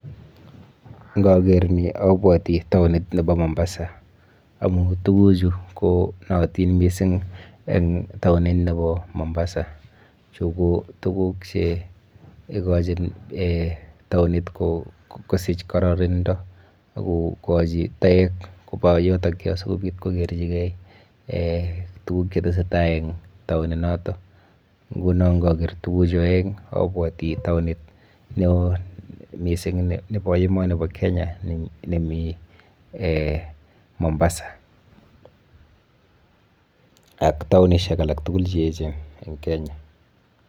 Ngageer ni abwoti taonit nebo Mombasa amun tuguchu konaatin mising eng taonit nebo Mombasa. Chu ko tuguk che ikochin taonit kosich kararanindo, kokochin toek kopa yutokyu sikopi kokerchikei tuguk che tesetai eng taonit noto. Nguno ngageer tuguchu aeng abwati taonit neo mising nebp emoni bo Kenya nemi Mombasa ak taonishek alak tugul che echen eng Kenya.